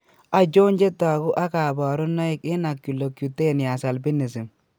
Achon chetogu ak kaborunoik eng' Oculocutaneous albinism